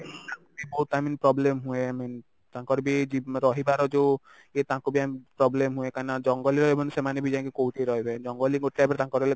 ବହୁତ i mean problem ହୁଏ i mean ତାଙ୍କରବି ଏଇ ଜି ରହିବାର ଯଉ ଇଏ ତାଙ୍କୁ ବି i mean problem ହୁଏ କାହିଁକିନା ଜଙ୍ଗଲରେ ସେମାନେ ବି ଯାଇଙ୍କି କଉଠି ରହିବେ ଜଙ୍ଗଲରେ